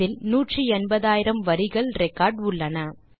இதில் 180000 வரிகள் ரெக்கார்ட் உள்ளன